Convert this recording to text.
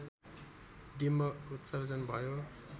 डिम्ब उत्सर्जन भयो